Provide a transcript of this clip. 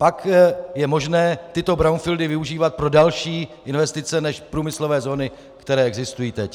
Pak je možné tyto brownfieldy využívat pro další investice než průmyslové zóny, které existují teď.